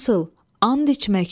Nasıl and içməkmi?